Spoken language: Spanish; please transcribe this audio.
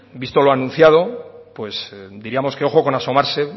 visto lo anunciado pues diríamos ojo con asomarse